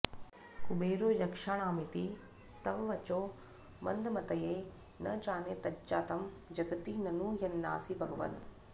कुबेरो यक्षाणामिति तव वचो मन्दमतये न जाने तज्जातं जगति ननु यन्नासि भगवन्